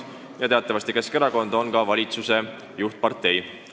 Teatavasti Keskerakond on praegu valitsuse juhtpartei.